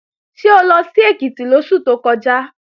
Ṣé o lọ sí Èkìtì lóṣù tó kọjá?